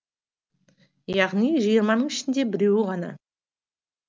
яғни жиырманың ішінде біреуі ғана